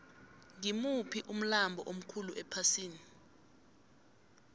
ngimuphi umlambo omkhulu ephasini